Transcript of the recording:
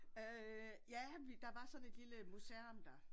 Øh ja der var sådan et lille museum der